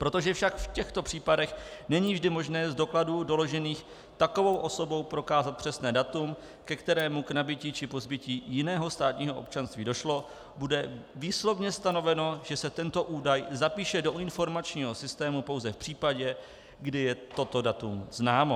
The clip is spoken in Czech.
Protože však v těchto případech není vždy možné z dokladů doložených takovou osobou prokázat přesné datum, ke kterému k nabytí či pozbytí jiného státního občanství došlo, bude výslovně stanoveno, že se tento údaj zapíše do informačního systému pouze v případě, kdy je toto datum známo.